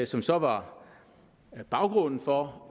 som så var baggrunden for